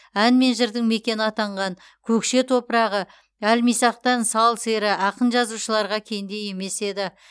ән мен жырдың мекені атанған көкше топырағы әлмисақтан сал сері ақын жазушыларға кенде емес еді